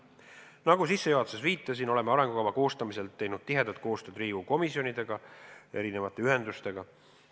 Nagu ma juba sissejuhatuses viitasin, oleme arengukava koostamisel teinud tihedat koostööd Riigikogu komisjonidega ja erinevate ühendustega.